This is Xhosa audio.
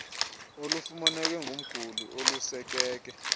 olufumaneke kumguli olusekeke